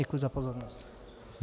Děkuji za pozornost.